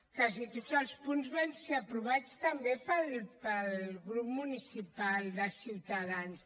quasi tots els punts van ser aprovats també pel grup municipal de ciutadans